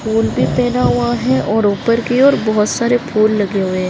फूल भी पहना हुआ है और ऊपर की और बहुत सारे फूल लगे हुए है।